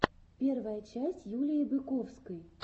первая часть юлии быковской